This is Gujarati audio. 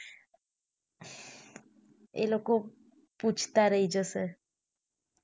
એ લોકો પૂછતાં રહી જસે